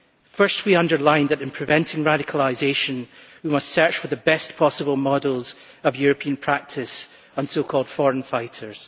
First we underline that in preventing radicalisation we must search for the best possible models of European practice on so called foreign fighters'.